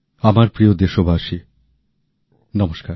আমার প্রিয় দেশবাসী নমস্কার